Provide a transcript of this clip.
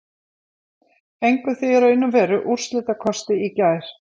Fenguð þið í raun og veru úrslitakosti í gær?